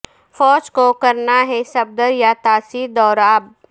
فوج کو کرنا ہے صفدر یہ تاثر دور اب